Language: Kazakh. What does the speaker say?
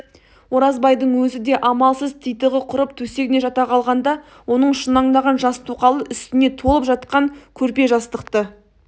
оразбайдың өзі де амалсыз титығы құрып төсегіне жата қалғанда оның шұнаңдаған жас тоқалы үстіне толып жатқан көрпе жастықты